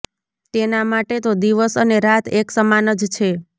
તેના માટે તો દિવસ અને રાત એક સમાન જ છે